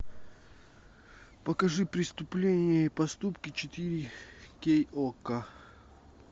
покажи преступления и поступки четыре кей окко